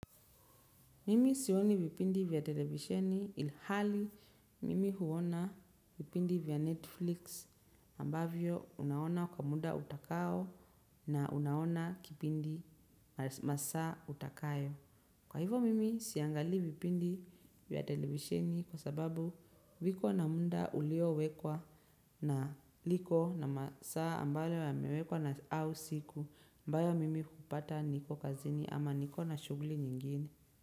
Mimi sioni vipindi vya televisheni ilhali mimi huona vipindi vya Netflix ambavyo unaona kwa muda utakao na unaona kipindi masaa utakayo. Kwa hivo mimi siangalii vipindi vya televisheni kwa sababu viko na munda uliowekwa na liko na masaa ambalo yamewekwa na au siku ambayo mimi hupata niko kazini ama niko na shughuli nyingine.